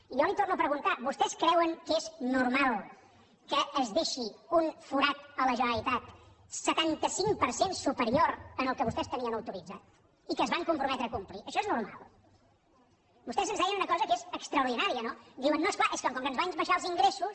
i jo li ho torno a preguntar vostès creuen que és normal que es deixi un forat a la generalitat setanta cinc per cent superior al que vostès tenien autoritzat i que es van comprometre a complir això és normal vostès ens deien una cosa que és extraordinària no diuen no és clar és que com que ens van baixar els ingressos